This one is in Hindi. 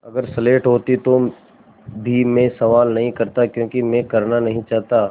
अगर स्लेट होती तो भी मैं सवाल नहीं करता क्योंकि मैं करना नहीं चाहता